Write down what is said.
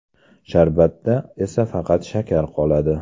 Sharbatda esa faqat shakar qoladi.